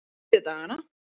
þriðjudagana